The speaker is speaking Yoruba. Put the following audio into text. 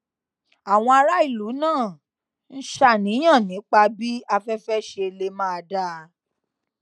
àwọn aráàlú náà ń ṣàníyàn nípa bí aféfé ṣe lè máà dáa